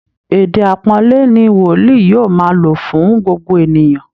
Èdè aàpọ́nlé ni Wòlíì yóò máa lo fún gbogbo ènìyàn